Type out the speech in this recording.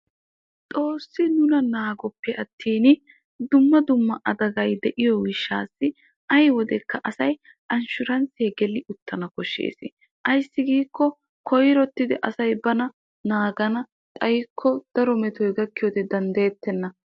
Xoosi nuna naagoppe attin dumma dumma daafay de'iyo gishawu koyrottiddi anshshuranssiya gellanna koshees.